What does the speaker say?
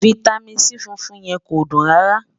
fìtámín C fúnfún yẹ̀n kò dùn rárá